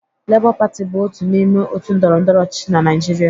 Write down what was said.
Lebọ Pati bụ otu n'ime òtù ndọrọndọrọ ọchịchị na Naịjirịa